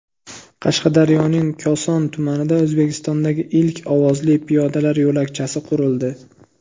Qashqadaryoning Koson tumanida O‘zbekistondagi ilk ovozli piyodalar yo‘lakchasi qurildi .